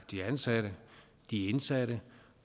de ansatte de indsatte